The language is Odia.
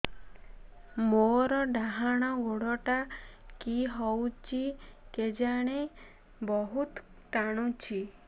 ମୋର୍ ଡାହାଣ୍ ଗୋଡ଼ଟା କି ହଉଚି କେଜାଣେ ବହୁତ୍ ଟାଣୁଛି